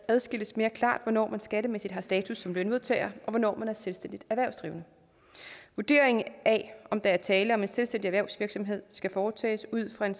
adskilles mere klart hvornår man skattemæssigt har status som lønmodtager og hvornår man er selvstændigt erhvervsdrivende vurderingen af om der er tale om selvstændig erhvervsvirksomhed skal foretages ud fra en